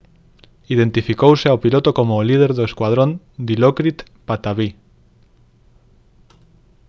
identificouse ao piloto como o líder do escuadrón dilokrit pattavee